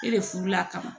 E de furu la ka na